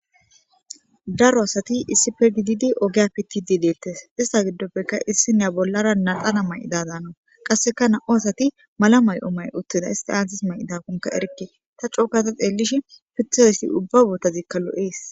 daro asati issife gididi ogeya pitid deettes ista giddoppekka issi nya bollara nadana may7ida daana qasseka na7u asati mala may7o may uttida isti aantis may7idakonka erikke ta cookata xeellish pitaaessi ubba botazikka lo7ees